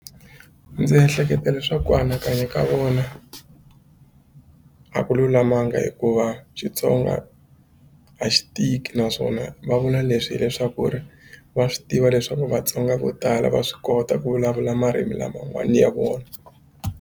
Ndzi ehleketa swa ku anakanya ka vona a ku lulamanga hikuva Xitsonga a xi tiki naswona va vula leswi hileswaku ri va swi tiva leswaku Vatsonga vo tala va swi kota ku vulavula marimi laman'wana ya vona.